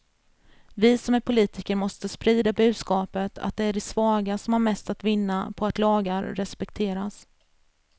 Vi som är politiker måste sprida budskapet att det är de svaga som har mest att vinna på att lagar respekteras.